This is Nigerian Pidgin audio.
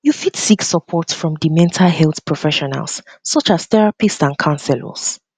you fit seek um support from di mental health professionals um such as therapists and counselors